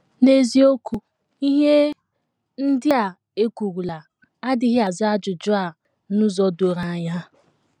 N’eziokwu, ihe ndị a e kwurula adịghị aza ajụjụ a n’ụzọ doro anya.